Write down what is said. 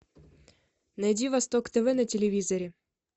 найди восток тв на телевизоре